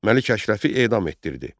Məlik Əşrəfi edam etdirdi.